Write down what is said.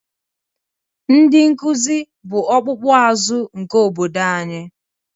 Ndị nkuzi bụ ọkpụkpụ azụ nke obodo anyị